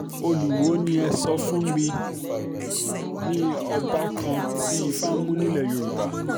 olùwọ́ọ́ um ni ẹ sọ fún mi ọba kan um tí ifá mú nílẹ̀ yorùbá